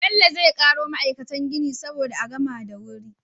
Bello zai karo ma'aikatan gini saboda a gama da wuri